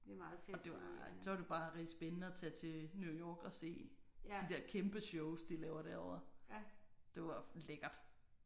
Og det var så var det bare rigtig spændende at tage til New York og se de der kæmpe shows de laver derovre. Det var lækkert